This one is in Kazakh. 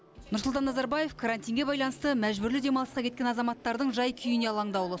нұрсұлтан назарбаев карантинге байланысты мәжбүрлі демалысқа кеткен азаматтардың жай күйіне алаңдаулы